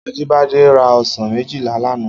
Ajibade rá òsán méjilá làná